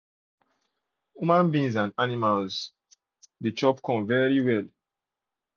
huma being and animals de chop chop corn